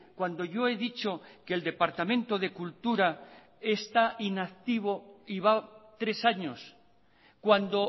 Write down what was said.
cuando yo he dicho que el departamento de cultura está inactivo y va tres años cuando